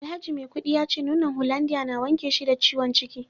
alhaji maikudi yace nonon hollandia na wanke shi da ciwon ciki